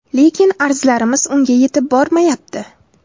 Lekin arzlarimiz unga yetib bormayapti.